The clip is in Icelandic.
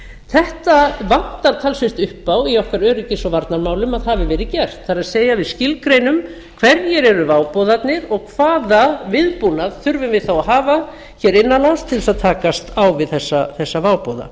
þetta vantar talsvert upp á í okkar öryggis og varnarmálum að hafi verið gert það er við skilgreinum hverjir eru váboðarnir og hvaða viðbúnað þurfum við þá að hafa innan lands til að takast á við þessa váboða